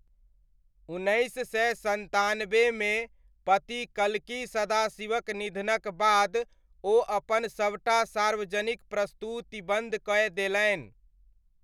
उन्नैस सय सन्तानब्बेमे पति कल्की सदाशिवक निधनक बाद ओ अपन सबटा सार्वजनिक प्रस्तुति बन्द कय देलनि।